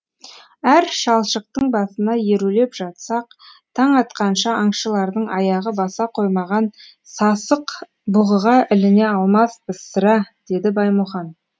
әр шалшықтың басына ерулеп жатсақ таң атқанша аңшылардың аяғы баса қоймаған сасықбұғыға іліне алмаспыз сірә деді баймұхан